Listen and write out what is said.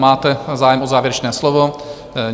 Máte zájem o závěrečné slovo?